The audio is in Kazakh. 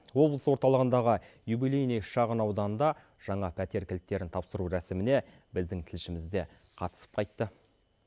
облыс орталығындағы юбилейный шағын ауданында жаңа пәтер кілттерін тапсыру рәсіміне біздің тілшіміз де қатысып қайтты